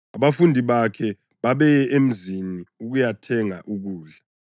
(Abafundi bakhe babeye emzini ukuyathenga ukudla.)